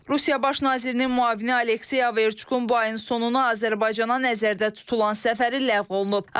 Rusiya Baş nazirinin müavini Aleksey Averçuk bu ayın sonu Azərbaycana nəzərdə tutulan səfəri ləğv olunub.